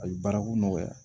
Ayi baarako nɔgɔya